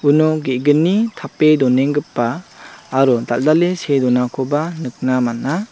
uno ge·gni tape donenggipa aro dal·dale see donakoba nikna man·a.